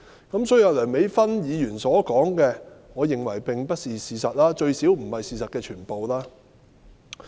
因此，梁美芬議員所說的，我認為並非事實，最少不是事實的全部。